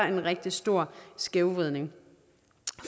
en rigtig stor skævvridning